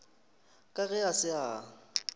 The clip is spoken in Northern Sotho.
ka ge a se a